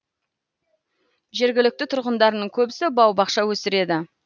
жергілікті тұрғындардың көбісі бау бақша өсіреді